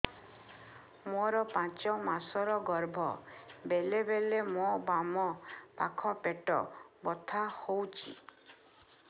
ମୋର ପାଞ୍ଚ ମାସ ର ଗର୍ଭ ବେଳେ ବେଳେ ମୋ ବାମ ପାଖ ପେଟ ବଥା ହଉଛି